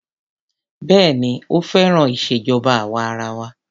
Béèni ó féràn ìṣèjọba àwa arawa.